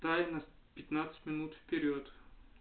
тайна пятнадцать минут вперёд